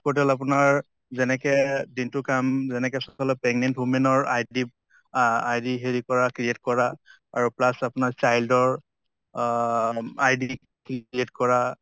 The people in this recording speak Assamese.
portal আপোনাৰ যেনেকে দিনটো কাম যেনেকে pregnant women ৰ id আহ id হেৰি কৰা create কৰা আৰু plus আপোনাৰ child ৰ অহ id create কৰা